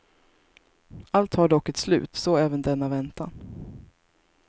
Allt har dock ett slut, så även denna väntan.